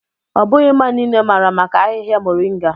Not everyone knows about moringa leaves.